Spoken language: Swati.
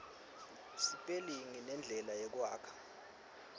sipelingi nendlela yekwakha